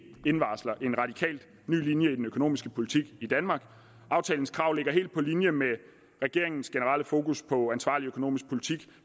indvarsler en radikalt ny linje i den økonomiske politik i danmark aftalens krav ligger helt på linje med regeringens generelle fokus på ansvarlig økonomisk politik